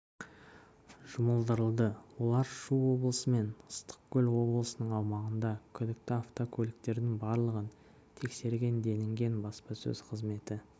жұмылдырылды олар шу облысы мен ыстықкөл облысының аумағында күдікті автокөліктердің барлығын тексерген делінген баспасөз қызметі